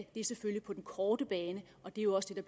er på den korte bane og det er også det